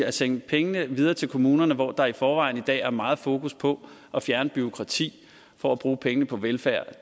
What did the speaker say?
at sende pengene videre til kommunerne hvor der i forvejen i dag er meget fokus på at fjerne bureaukrati for at bruge pengene på velfærd